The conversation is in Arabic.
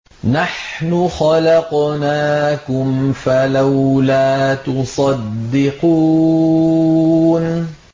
نَحْنُ خَلَقْنَاكُمْ فَلَوْلَا تُصَدِّقُونَ